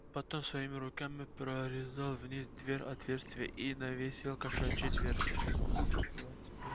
потом своими руками прорезал вниз двери отверстие и навесил кошачью дверцу двадцать пять